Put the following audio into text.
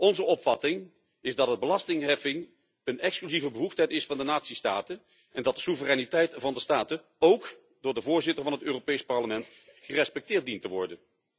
Onze opvatting is dat belastingheffing een exclusieve bevoegdheid is van de natiestaten en dat de soevereiniteit van de staten ook door de voorzitter van het Europees Parlement gerespecteerd dient te worden.